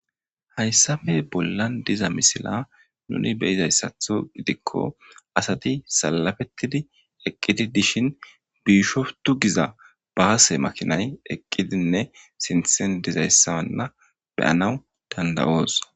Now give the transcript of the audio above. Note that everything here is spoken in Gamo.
Hayssafe bollan diza misila nuni beyizayssatho gidikko asati salafetidi eqqidi dishin biishoftu giza baase makinay eqqidinne sinthen dizayssanna beyanaw dandawoos.